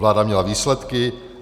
Vláda měla výsledky.